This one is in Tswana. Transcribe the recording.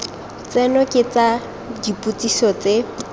tseno ke tsa dipotsiso tse